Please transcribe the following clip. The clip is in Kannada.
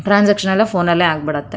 ಟ್ರಾನ್ಸಾಕ್ಷನ್ಸ್ ಎಲ್ಲ ಫೋನ್ ನಲ್ಲೇ ಆಗಿ ಬಿಡುತ್ತೆ.